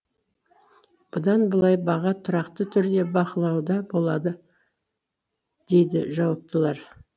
бұдан былай баға тұрақты түрде бақылауда болады дейді жауаптылар